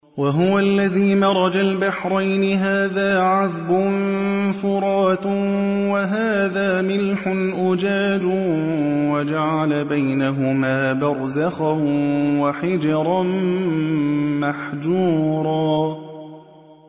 ۞ وَهُوَ الَّذِي مَرَجَ الْبَحْرَيْنِ هَٰذَا عَذْبٌ فُرَاتٌ وَهَٰذَا مِلْحٌ أُجَاجٌ وَجَعَلَ بَيْنَهُمَا بَرْزَخًا وَحِجْرًا مَّحْجُورًا